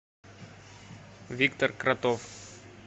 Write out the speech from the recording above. виктор кротов